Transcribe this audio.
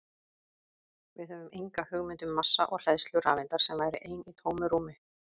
Við höfum enga hugmynd um massa og hleðslu rafeindar sem væri ein í tómu rúmi!